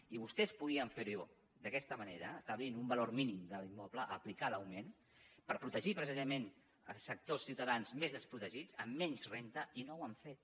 i vostès podien fer ho d’aquesta manera establint un valor mínim de l’immoble aplicar l’augment per protegir precisament els sectors dels ciutadans més desprotegits amb menys renda i no ho han fet